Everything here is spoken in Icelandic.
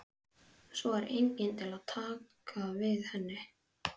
Veronika, hversu margir dagar fram að næsta fríi?